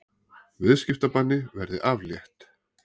Viðskiptabanni verði aflétt